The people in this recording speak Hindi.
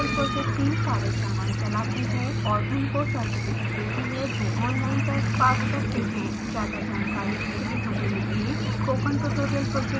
स्पोकन ट्यूटोरियल प्रोजेक्ट टीम कार्यशालाएं चलाती है और उनको सर्टिफिकेट देती है जो ऑनलाइन टेस्ट पास करते हैं